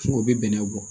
O bɛ bɛnɛ bɔ